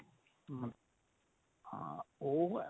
ਹਾਂ ਉਹ